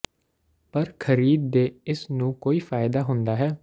ਪਰ ਖਰੀਦ ਦੇ ਇਸ ਨੂੰ ਕੋਈ ਫ਼ਾਇਦਾ ਹੁੰਦਾ ਹੈ